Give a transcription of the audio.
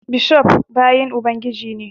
Bishof bayin Ubangiji ne